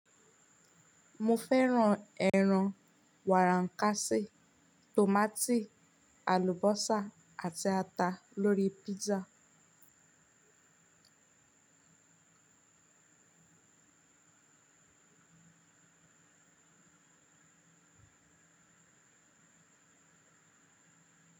Mo fẹ́ran ẹran, wàrà ǹkàsí, tòmátì, àlùbọ́sà àti ata lórí pizza.